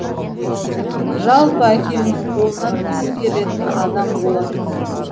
жалпы әкемнің қолынан іс келетін адам болатын